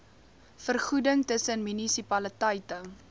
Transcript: vergoeding tussen munisipaliteite